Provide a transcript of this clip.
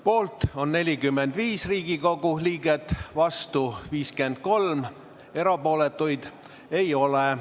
Poolt on 45 Riigikogu liiget, vastuolijaid on 53 ja erapooletuid ei ole.